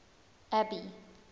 abby